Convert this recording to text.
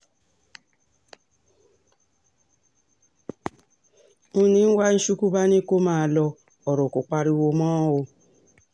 um ni wachukwu bá ní kó máa lo ọ̀rọ̀ kó pariwo mọ́ um